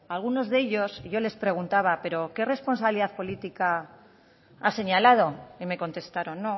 algunos de ellos yo les preguntaba pero qué responsabilidad política ha señalado y me contestaron